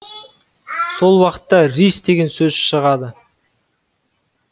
сол уақытта рис деген сөз шығады